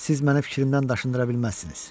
Siz mənə fikrimdən daşındıra bilməzsiniz.